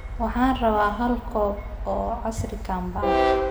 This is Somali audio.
Waxaan rabaa hal koob oo casiir cambe ah